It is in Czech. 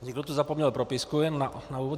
Někdo tu zapomněl propisku, jen na úvod.